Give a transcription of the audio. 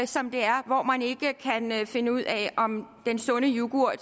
som det er og hvor man ikke kan finde ud af om den sunde yoghurt